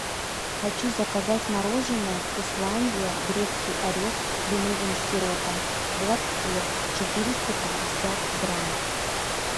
хочу заказать мороженое вкусландия грецкий орех с кленовым сиропом в лотке четыреста пятьдесят грамм